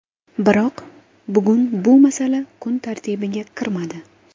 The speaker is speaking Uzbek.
Biroq bugun bu masala kun tartibiga kirmadi.